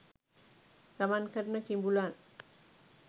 ගමන් කරන කිඹුලන්